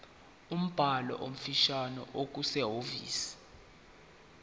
umbhalo ofanele okusehhovisi